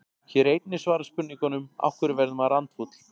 Hér er einnig svarað spurningunum: Af hverju verður maður andfúll?